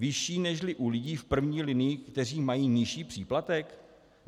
- Vyšší nežli u lidí v první linii, kteří mají nižší příplatek?